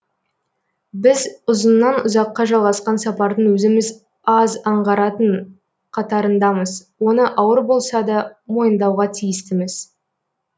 біз ұзынан ұзаққа жалғасқан сапардың өзіміз аз аңғаратын қатарындамыз оны ауыр болса да мойындауға тиістіміз